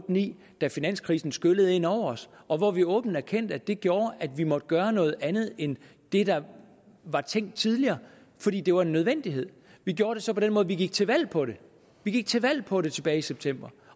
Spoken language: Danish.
ni da finanskrisen skyllede ind over os og hvor vi åbent erkendte at det gjorde at vi måtte gøre noget andet end det der var tænkt tidligere fordi det var en nødvendighed vi gjorde det så på den måde at vi gik til valg på det vi gik til valg på det tilbage i september